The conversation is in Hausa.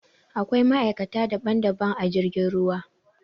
Aƙwai ma'aikata daɓan-daɓan a jirgin ruwa.